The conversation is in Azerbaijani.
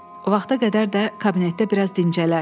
Vaxta qədər də kabinetdə biraz dincələr.